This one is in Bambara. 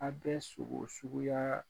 A bɛ sogo suguya